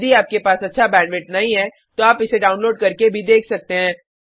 यदि आपके पास अच्छा बैंडविड्थ नहीं है तो आप इसे डाउनलोड करके देख सकते हैं